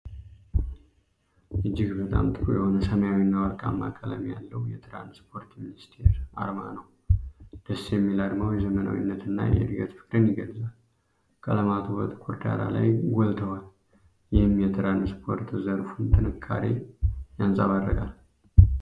እጅግ በጣም ጥሩ የሆነ ሰማያዊና ወርቃማ ቀለም ያለው የትራንስፖርት ሚኒስቴር አርማ ነው። ደስ የሚል አርማው የዘመናዊነትና የእድገት ፍቅርን የገልጻል። ቀለማቱ በጥቁር ዳራ ላይ ጎልተዋል፣ ይህም የትራንስፖርት ዘርፉን ጥንካሬ ያንጸባርቃል።